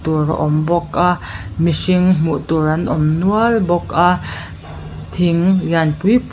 dawr a awm bawk a mihring hmuh tur an awm nual bawk a thing lian pui pui--